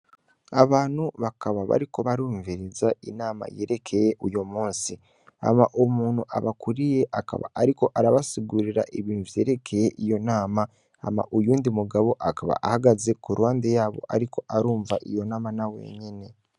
Abantu bakaba bariku barumviriza inama yerekeye uyo musi, ama umuntu abakuriye akaba ariko arabasugurira ibintu vyerekeye iyo nama, ama uyundi mugabo akaba ahagaze ku rwande yabo ariko arumva iyo nama na wenyene.